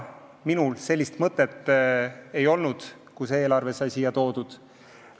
Minul sellist mõtet ei olnud, kui sai see eelarve siia toodud.